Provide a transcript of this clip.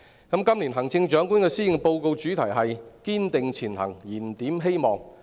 今年行政長官的施政報告主題是"堅定前行燃點希望"。